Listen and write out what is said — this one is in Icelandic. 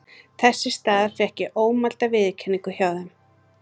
Þess í stað fékk ég ómælda viðurkenningu hjá þeim.